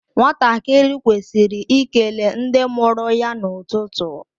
Nwatakịrị kwesịrị ikele ndị mụrụ ya n’ụtụtụ